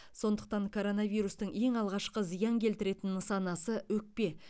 сондықтан коронавирустың ең алғашқы зиян келтіретін нысанасы өкпе